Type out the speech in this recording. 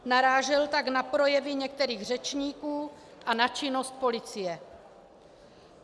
Narážel tak na projevy některých řečníků a na činnosti policie.